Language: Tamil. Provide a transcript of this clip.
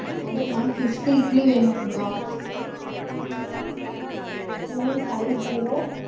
அதான் ma'am fifty இட்லி வேணுங்களா? உம் five zero